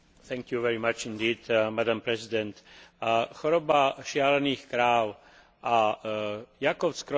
Choroba šialených kráv a Jakob Creutzfeldtova choroba spolu navzájom súvisia.